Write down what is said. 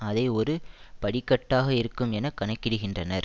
அதை ஒரு படிக்கட்டாக இருக்கும் என கணக்கிடுகின்றனர்